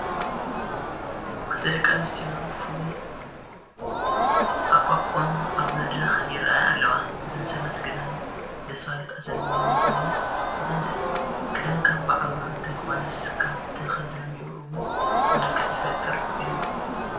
ክልተ ደቂ ኣንስትዮ ብፍሉይ ኣቋቑማ ኣብ መድረኽ ይርአያ ኣለዋ፡፡ እዘን ሰባት ክዳን ዘፋልጣ ዘለዋ ምዃነን ንግንዘብ፡፡ ክዳን ካብ ባዕሉ እንተይኾነስ ካብ ተኸዳኒኡ እውን መልክዕ ይፈጥር እዩ፡፡